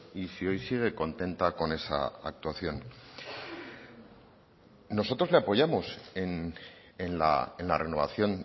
y si hoy sigue contenta con esa actuación nosotros le apoyamos en la renovación